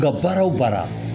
Ka baara o baara